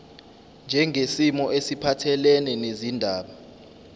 njengesimo esiphathelene nezindaba